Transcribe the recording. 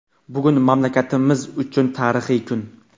Bugun mamlakatimiz uchun tarixiy kun.